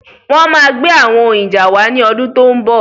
Wọn gbé àwọn ohun ìjà wa ni ọdún tó ń bọ̀